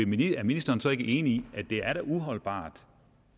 ministeren så ikke enig i at det da er uholdbart